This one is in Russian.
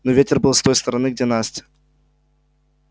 но ветер был с той стороны где настя